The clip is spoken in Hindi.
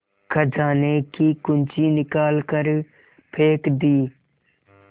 खजाने की कुन्जी निकाल कर फेंक दी